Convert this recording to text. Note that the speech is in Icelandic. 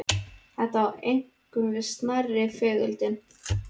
Þetta á einkum við um smærri félögin.